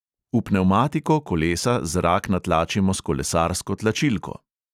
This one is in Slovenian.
V pnevmatiko kolesa zrak natlačimo s kolesarsko tlačilko.